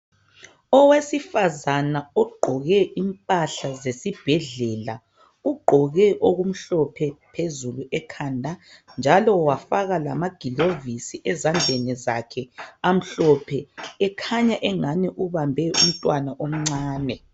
Owesifazana ogqoke impahla zesibhedlela. Ugqoke okumhlophe phezulu ekhanda, njalo wafaka lamagilovisi ezandleni zakhe (amhlophe). Ekhanya engani ubambe umntwana omncane.